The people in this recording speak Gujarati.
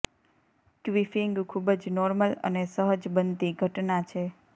ક્વિફિંગ ખૂબ જ નોર્મલ અને સહજ બનતી ઘટના છે